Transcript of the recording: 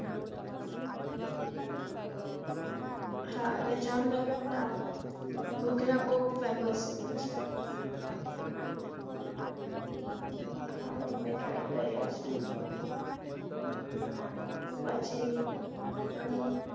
હા અને જામ નગર નાં ઘૂઘરા બઉ femas હોય છ અચ્છા હા મેં try કર્યા હતા પછી અહી અહી